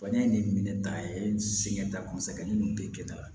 Bana in ye minɛ ta ye sɛgɛn ta kɔni sɛgɛn minnu tɛ kɛ ta la